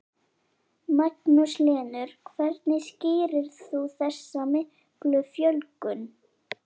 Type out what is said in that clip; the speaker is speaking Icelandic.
Magnús Hlynur: Hvernig skýrir þú þessa miklu fjölgun?